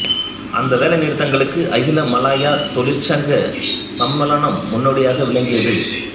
அந்த வேலைநிறுத்தங்களுக்கு அகில மலாயா தொழிற்சங்க சம்மேளனம் முன்னோடியாக விளங்கியது